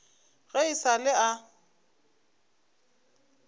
ge e sa le a